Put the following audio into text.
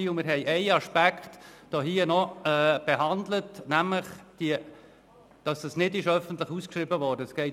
Wir haben noch einen Aspekt behandelt, nämlich denjenigen, dass der Vertrag nicht öffentlich ausgeschrieben worden ist.